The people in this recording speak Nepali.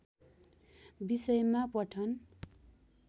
विषयमा पठन